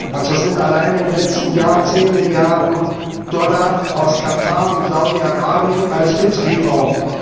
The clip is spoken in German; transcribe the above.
Und so gab es allein im letzten Jahr zehn Milliarden Dollar aus Katar und Saudi Arabien als Hilfslieferung.